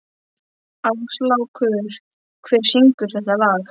Áslákur, hver syngur þetta lag?